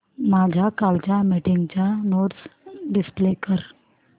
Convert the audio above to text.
माझ्या कालच्या मीटिंगच्या नोट्स डिस्प्ले कर